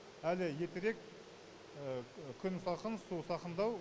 әлі ертерек күн салқын су сақындау